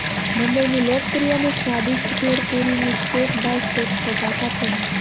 મુંબઈની લોકપ્રિય ને સ્વાદિષ્ટ ભેળ પૂરીની સ્ટેપ બાય સ્ટેપ ફોટા સાથેની